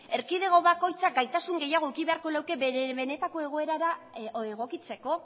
erkidego bakoitzak gaitasun gehiago eduki beharko luke bere benetako egoerara egokitzeko